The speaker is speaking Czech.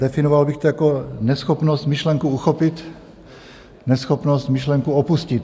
Definoval bych to jako neschopnost myšlenku uchopit, neschopnost myšlenku opustit.